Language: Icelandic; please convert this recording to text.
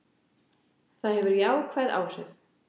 Það hefur jákvæð áhrif.